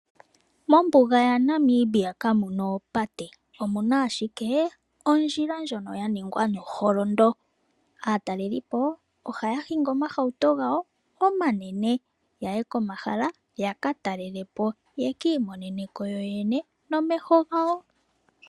Mombuga yaNamibia ka muna oopate, omuna ashike ondjila ndjono ya ningwa no holondo. Aatalelipo ohaya hingi omahauto gawo omanene yaye komahala yaka talelepo yeki imonene ko yo yene nomeho gawo.